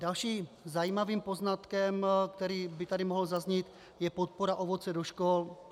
Dalším zajímavým poznatkem, který by tady mohl zaznít, je podpora ovoce do škol.